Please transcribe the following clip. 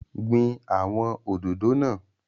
Gbin awọn òdòdó náà!